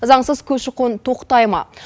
заңсыз көші қон тоқтай ма